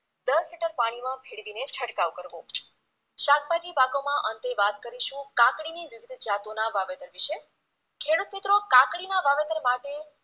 દસ લિટર પાણીમાંં ભેળવીને છંટકાવ કરવો શાકભાજી પાકોમાં અંતે વાત કરીશુ કાકડીની વિવિધ જાતોના વાવેતર વિશે ખેડુત મિત્રો કાકડીમા વાવેતર માટે